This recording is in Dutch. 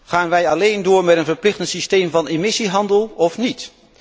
Gaan wij alléen door met een verplichtend systeem van emissiehandel of niet?